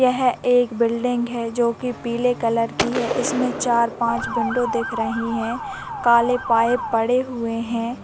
यह एक बिल्डिंग है जो की पीले कलर की है। इसमे चार-पाँच विंडो दिख रही हैं काले पाइप पड़े हुए हैं।